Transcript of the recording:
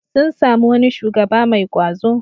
Sun sami wani shugaba mai ƙwazo.